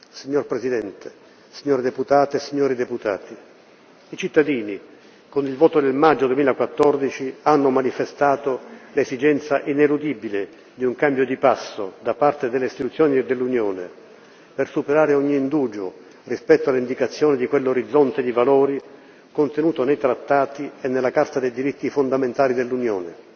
Signor Presidente, signore deputate e signori deputati, i cittadini, con il voto del maggio 2014, hanno manifestato l'esigenza ineludibile di un cambio di passo da parte delle istituzioni dell'Unione, per superare ogni indugio rispetto all'indicazione di quell'orizzonte di valori contenuto nei Trattati e nella Carta dei diritti fondamentali dell'Unione.